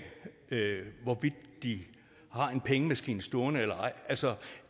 hvorvidt de har en pengemaskine stående eller ej altså